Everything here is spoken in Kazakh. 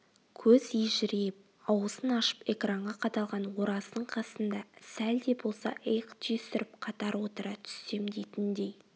көз ежірейіп аузын ашып экранға қадалған ораздың қасында сәл де болса иық түйістіріп қатар отыра түссем дейтіндей